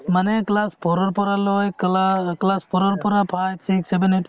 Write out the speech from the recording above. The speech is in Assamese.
মানে class four ৰ পৰালৈ class four ৰ পৰা five six seven eight